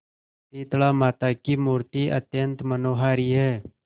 शीतलामाता की मूर्ति अत्यंत मनोहारी है